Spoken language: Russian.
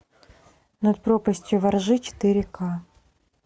над пропастью во ржи четыре ка